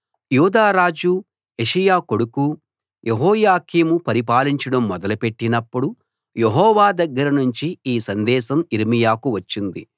యూదా రాజు యోషీయా కొడుకు యెహోయాకీము పరిపాలించడం మొదలు పెట్టినపుడు యెహోవా దగ్గరనుంచి ఈ సందేశం యిర్మీయాకు వచ్చింది